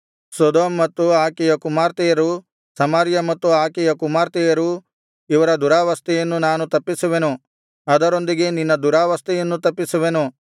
Sodom ಮತ್ತು ಆಕೆಯ ಕುಮಾರ್ತೆಯರು ಸಮಾರ್ಯ ಮತ್ತು ಆಕೆಯ ಕುಮಾರ್ತೆಯರು ಇವರ ದುರಾವಸ್ಥೆಯನ್ನು ನಾನು ತಪ್ಪಿಸುವೆನು ಅದರೊಂದಿಗೆ ನಿನ್ನ ದುರಾವಸ್ಥೆಯನ್ನೂ ತಪ್ಪಿಸುವೆನು